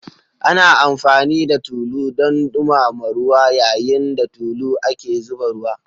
Ana amfani da tulu don dumama ruwa, yayin da tulu ake zuba ruwa.